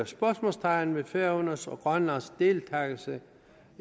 spørgsmålstegn ved færøernes og grønlands deltagelse